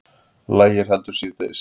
Lægir heldur síðdegis